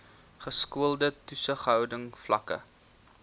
geskoolde toesighouding vlakke